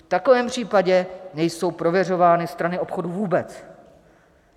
V takovém případě nejsou prověřovány strany obchodu vůbec.